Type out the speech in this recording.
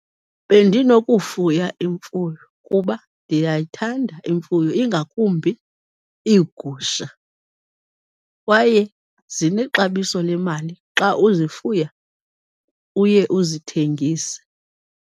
Bendinokufuya imfuyo kuba ndiyayithanda imfuyo, ingakumbi iigusha kwaye zinexabiso lemali xa uzifuya uye uzithengise.